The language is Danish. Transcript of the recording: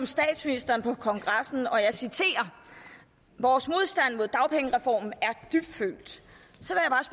statsministeren på kongressen sagde og jeg citerer vores modstand mod dagpengereformen